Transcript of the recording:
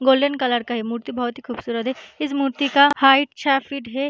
Golden colour का है मूर्ति बहुत ही खूबसूरत है। इस मूर्ति का हाइट छः फ़ीट है।